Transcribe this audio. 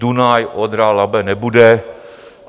Dunaj-Odra-Labe nebude.